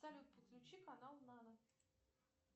салют подключи канал нано